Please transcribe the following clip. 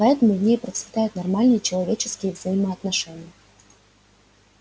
поэтому в ней процветают нормальные человеческие взаимоотношения